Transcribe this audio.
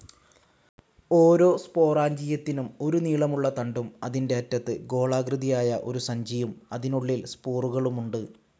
ഓരോ സ്പൊറാഞ്ചിയത്തിനും ഒരു നീളമുള്ള തണ്ടും അതിന്റെ അറ്റത്ത് ഗോളാകൃതിയായ ഒരു സഞ്ചിയും അതിനുള്ളിൽ സ്പോറുകളുമുണ്ട്.